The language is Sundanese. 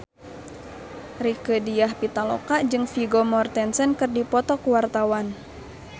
Rieke Diah Pitaloka jeung Vigo Mortensen keur dipoto ku wartawan